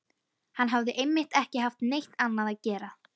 Hann hafði einmitt ekki haft neitt annað að gera.